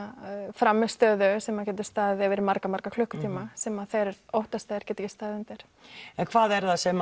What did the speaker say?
frammistöðu sem getur staðið yfir í marga marga klukkutíma sem að þeir óttast að þeir geti ekki staðið undir en hvað er það sem